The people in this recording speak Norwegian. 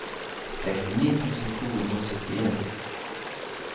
sekstini tusen to hundre og syttien